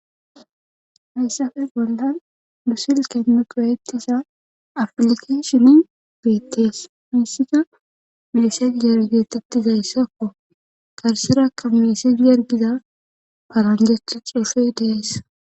Hayssafe bollan busil keemugayettisa aflikeshini deettees miisika miised yargetettizayssakko karserakka miisedi yargiza palanjecha cuufey dees